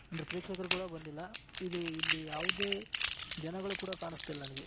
ಅಂದ್ರೆ ಪ್ರೇಕ್ಷಕರು ಕೂಡ ಬಂದಿಲ್ಲ ಅದು ಇಲ್ಲಿ ಯಾವುದೇ ಜನಗಳು ಕೂಡ ಕಾಣಿಸ್ತಿಲ್ಲ ನನಗೆ.